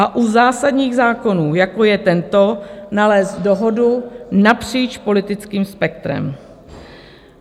A u zásadních zákonů, jako je tento, nalézt dohodu napříč politickým spektrem.